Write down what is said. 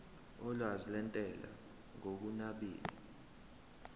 olwazi lwentela ngokunabile